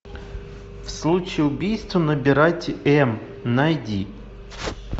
в случае убийства набирать м найди